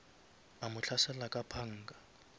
a mo hlasela ka panga